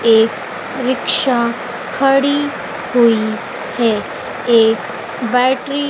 एक रिक्शा खड़ी हुई है एक बैटरी --